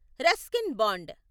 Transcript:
Ruskin bond